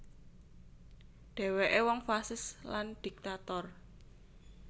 Dhèwèké wong fasis lan dhiktator